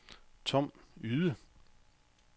Tom Yde